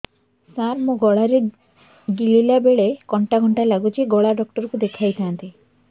ସାର ମୋ ଗଳା ରେ ଗିଳିଲା ବେଲେ କଣ୍ଟା କଣ୍ଟା ଲାଗୁଛି ଗଳା ଡକ୍ଟର କୁ ଦେଖାଇ ଥାନ୍ତି